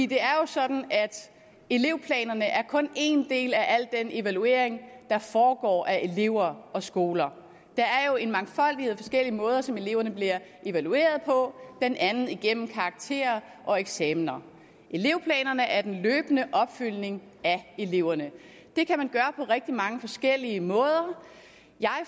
det er jo sådan at elevplanerne kun er en del af den evaluering der foregår af elever og skoler der er jo en mangfoldighed af måder som eleverne bliver evalueret på blandt andet gennem karakterer og eksamen elevplanerne er den løbende opfølgning af eleverne det kan man gøre på rigtig mange forskellige måder jeg